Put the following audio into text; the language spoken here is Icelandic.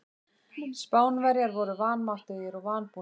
Spánverjar voru vanmáttugir og vanbúnir.